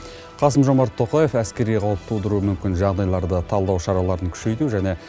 қасым жомарт тоқаев әскери қауіп тудыруы мүмкін жағдайларды талдау шараларын күшейту және